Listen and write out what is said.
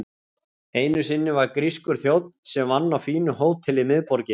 Einu sinni var grískur þjónn sem vann á fínu hóteli í miðborginni.